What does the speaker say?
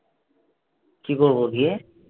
কি করব গিয়ে?